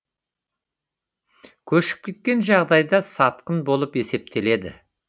көшіп кеткен жағдайда сатқын болып есептеледі